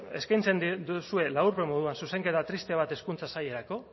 eskaintzen duzue laburpen moduan zuzenketa triste bat hezkuntza sailerako